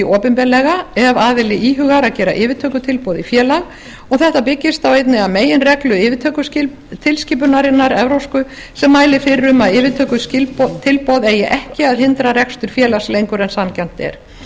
opinberlega ef aðili íhugar að gera yfirtökutilboð í félag þetta byggist á einni af meginreglu yfirtökutilskipunarinnar evrópsku sem mælir fyrir um að yfirtökutilboð eigi ekki að hindra rekstur félags lengur en sanngjarnt er